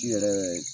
Ji yɛrɛ